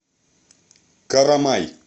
карамай